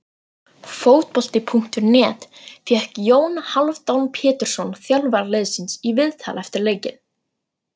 Fótbolti.net fékk Jón Hálfdán Pétursson þjálfara liðsins í viðtal eftir leikinn.